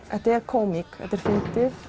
þetta er kómík þetta er fyndið